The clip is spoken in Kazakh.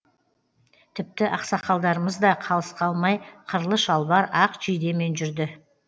тіпті ақсақалдарымыз да қалыс қалмай қырлы шалбар ақ жейдемен жүрді